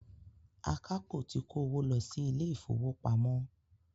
Àkápò ti kó owó lọ si ilé ìfọwọ́pamo.